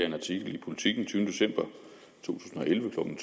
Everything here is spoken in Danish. en artikel i politiken den tyvende december to tusind og elleve klokken